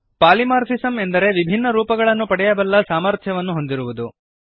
polymorphism ಎಂದರೆ ವಿಭಿನ್ನ ರೂಪಗಳನ್ನು ಪಡೆಯಬಲ್ಲ ಸಾಮರ್ಥ್ಯವನ್ನು ಹೊಂದಿರುವುದು